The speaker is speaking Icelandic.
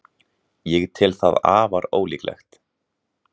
Ég tel það afar ólíklegt.